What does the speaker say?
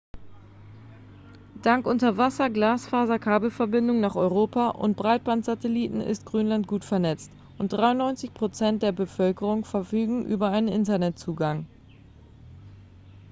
dank unterwasser-glasfaserkabelverbindungen nach europa und breitband-satelliten ist grönland gut vernetzt und 93 % der bevölkerung verfügen über einen internetzugang